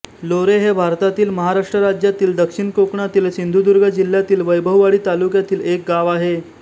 लोरे हे भारतातील महाराष्ट्र राज्यातील दक्षिण कोकणातील सिंधुदुर्ग जिल्ह्यातील वैभववाडी तालुक्यातील एक गाव आहे